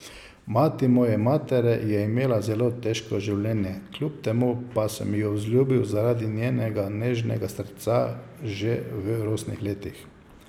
Mati moje matere je imela zelo težko življenje, kljub temu pa sem jo vzljubil zaradi njenega nežnega srca že v rosnih letih.